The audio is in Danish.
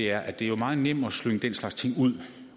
er at det jo er meget nemt at slynge den slags ting ud